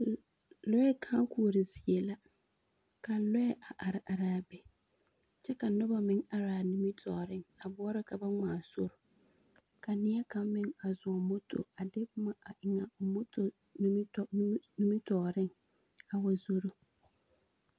Lɔɛ kãã-koɔre zie la, ka lɔɛ a are araa be, kyɛ ka noba meŋ araa nimitɔɔreŋ a boɔrɔ ka ba ŋmaa sori, ka neɛkaŋ meŋ a zɔŋ moto a de boma a eŋ a o moto nitɔ nimi nimitɔɔreŋ a wa zoro.